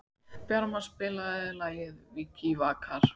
Bjarma, spilaðu lagið „Vikivakar“.